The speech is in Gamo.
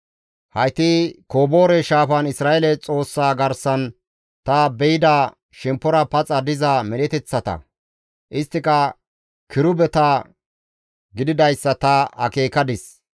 Hayti Koboore Shaafan Isra7eele Xoossaa garsan ta be7ida shemppora paxa diza medheteththata; isttika kirubeta gididayssa ta akeekadis.